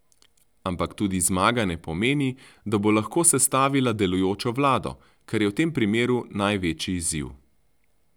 Ampak tudi zmaga ne pomeni, da bo lahko sestavila delujočo vlado, kar je v tem primeru največji izziv.